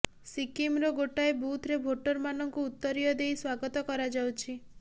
ସିକିମ୍ର ଗୋଟାଏ ବୁଥ୍ରେ ଭୋଟର୍ମାନଙ୍କୁ ଉତ୍ତରୀୟ ଦେଇ ସ୍ୱାଗତ କରାଯାଉଛି